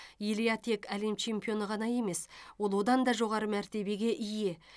илья тек әлем чемпионы ғана емес ол одан да жоғары мәртебеге ие